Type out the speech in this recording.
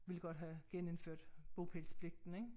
Ville godt have genindført bopælspligten ik